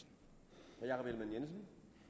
jensen